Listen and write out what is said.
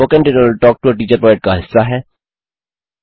spoken tutorial talk to a teacher project का हिस्सा है